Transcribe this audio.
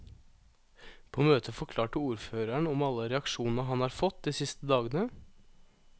På møtet forklarte ordføreren om alle reaksjonene han har fått de siste dagene.